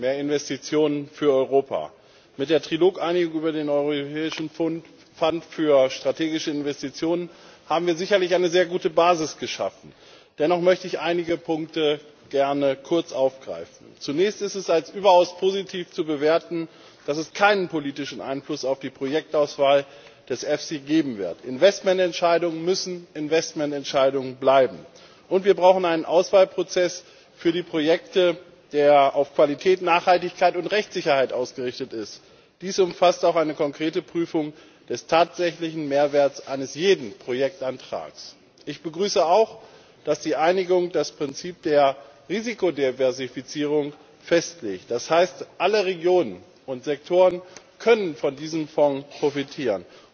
Herr Präsident! Herzlichen Dank an die Kommission für ihre Ausführungen. Ich stimme Ihnen zu Wir brauchen mehr Investitionen für Europa. Mit der Trilog Einigung über den Europäischen Fonds für strategische Investitionen haben wir sicherlich eine sehr gute Basis geschaffen. Dennoch möchte ich einige Punkte gerne kurz aufgreifen. Zunächst ist es als überaus positiv zu bewerten, dass es keinen politischen Einfluss auf die Projektauswahl des EFSI geben wird. Investmententscheidungen müssen Investmententscheidungen bleiben. Und wir brauchen einen Auswahlprozess für die Projekte, der auf Qualität, Nachhaltigkeit und Rechtssicherheit ausgerichtet ist. Dies umfasst auch eine konkrete Prüfung des tatsächlichen Mehrwerts eines jeden Projektantrags. Ich begrüße auch, dass die Einigung das Prinzip der Risikodiversifizierung festlegt. Das heißt, alle Regionen und Sektoren können von diesem Fonds profitieren.